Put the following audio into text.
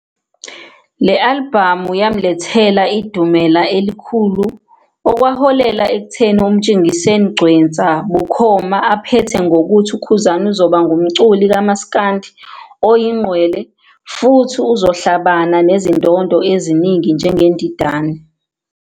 Le-alibhamu yamlethela idumela elikhulu okwaholela ekutheni uMtshengiseni Gcwensa, bukhoma aphethe ngokuthi uKhuzani uzoba ngumculi kamas'kandi oyingqwele futhi uzohlabana nezindondo eziningi njengeNdidane.